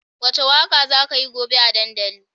Wace waka za kayi gobe a dandali?